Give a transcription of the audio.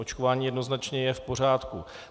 Očkování jednoznačně je v pořádku.